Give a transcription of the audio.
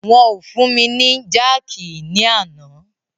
Wọn o fún mi ni jákìí ní àná.